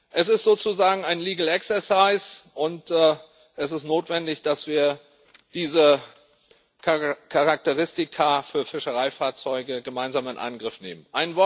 Es ist sozusagen ein legal exercise und es ist notwendig, dass wir diese Charakteristika für Fischereifahrzeuge gemeinsam in Angriff nehmen.